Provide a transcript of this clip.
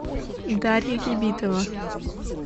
дарья ебитова